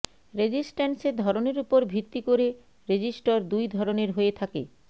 রেজিস্ট্যান্সের ধরনের উপর ভিত্তি করে রেজিস্টর দুই ধরনের হয়ে থাকেঃ